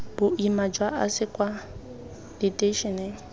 boima jwa ase kwa diteišeneng